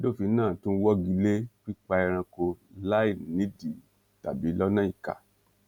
àbádòfin náà tún wọgi lé pípa ẹranko láì nídìí tàbí lọnà ìkà